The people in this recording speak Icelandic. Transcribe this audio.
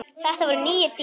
Þetta voru nýir tímar.